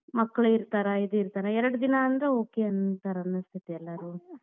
ಮಕ್ಕಳು ಇರ್ತಾರಾ ಇದ್ ಇರ್ತಾರಾ ಎರಡ್ ದಿನಾ ಅಂದ್ರ okay ಅಂತಾರ ಅನಿಸ್ತೇತಿ ಎಲ್ಲಾರು.